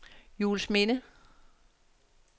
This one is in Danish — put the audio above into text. Juelsminde